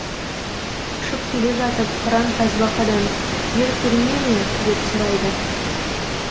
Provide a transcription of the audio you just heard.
ұшып келе жатып қыран тасбақадан жер көріне ме деп сұрайды